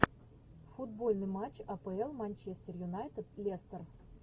футбольный матч апл манчестер юнайтед лестер